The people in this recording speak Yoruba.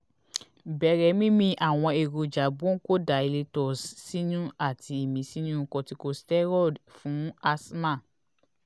bere mimi àwọn èròjà bronchodilators sinu àti imisinu corticosteroid ics fún asthma